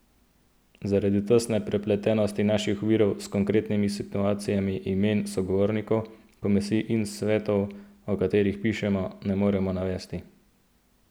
Zaradi tesne prepletenosti naših virov s konkretnimi situacijami imen sogovornikov, komisij in svetov, o katerih pišemo, ne moremo navesti.